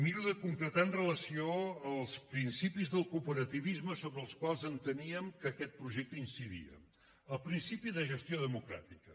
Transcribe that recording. miro de concretar amb relació als principis del cooperativisme sobre els quals enteníem que aquest projecte incidia el principi de gestió democràtica